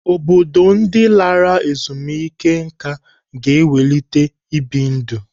Obodo ndị lara ezumike nká ga ịkwalite ibi ndụ.